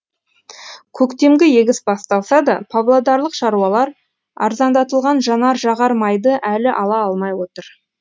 көктемгі егіс басталса да павлодарлық шаруалар арзандатылған жанар жағар майды әлі ала алмай отыр